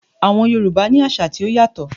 Àwọn Yorùbá ní àṣà tí ó yàtọ̀